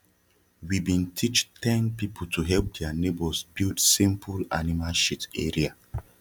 we bin teach ten people to help dia neighbours build simple anima shit area